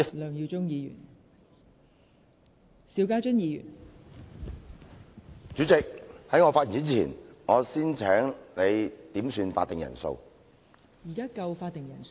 代理主席，在我開始發言前，我先要求點算法定人數。